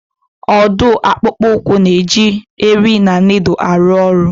Ọ dụụ akpụkpụ ụkwụ na-eji eri na nịịdụlụ arụ ọrụ.